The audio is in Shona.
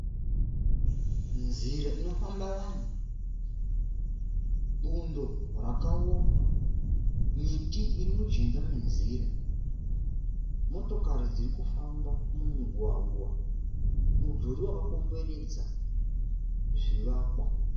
Nzira inofamba vanhu. Bundo rakaoma. Miti irimujinga menzira. Motokari dziri kufamba mumugwagwa. Mudhuri wakakomberedza zvivakwa.